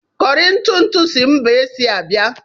Kọri ntụ ntụ si mba Ashia bịa.